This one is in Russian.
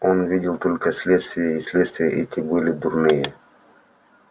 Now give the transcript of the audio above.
они видели только следствия и следствия эти были дурные